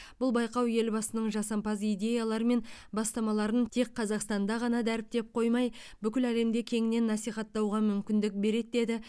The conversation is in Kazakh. бұл байқау елбасының жасампаз идеялары мен бастамаларын тек қазақстанда ғана дәріптеп қоймай бүкіл әлемде кеңінен насихаттауға мүмкіндік береді деді